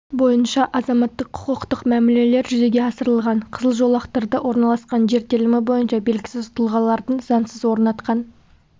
бойынша азаматтық-құқықтық мәмілелер жүзеге асырылған қызыл жолақтарда орналасқан жер телімі бойынша белгісіз тұлғалардың заңсыз орнатқан